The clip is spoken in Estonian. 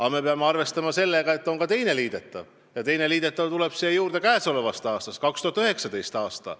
Aga me peame arvestama sellega, et on ka teine liidetav, ja see teine liidetav tuleneb käesolevast, 2019. aastast.